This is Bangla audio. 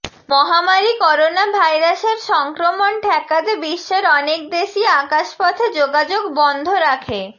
মহামারি করোনাভাইরাসের সংক্রমণ ঠেকাতে বিশ্বের অনেক দেশই আকাশ পথে যোগাযোগ বন্ধ রাখে